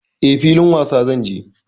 E, filin wasa zan je.